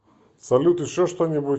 салют еще что нибудь